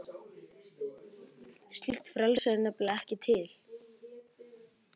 Slíkt frelsi er nefnilega ekki til.